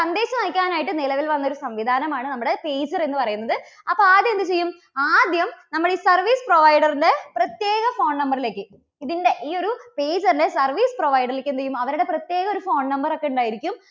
സന്ദേശം അയയ്ക്കാൻ ആയിട്ട് നിലവിൽ വന്ന ഒരു സംവിധാനമാണ് നമ്മുടെ pager എന്നു പറയുന്നത്. അപ്പോ ആദ്യം എന്തു ചെയ്യും? ആദ്യം നമ്മൾ service provider ന്റെ പ്രത്യേക phone number ലേക്ക് ഇതിൻറെ ഈ ഒരു pager ന്റെ service provider ലേക്ക് എന്തുചെയ്യും അവരുടെ പ്രത്യേക ഒരു phone number ഒക്കെ ഉണ്ടായിരിക്കും.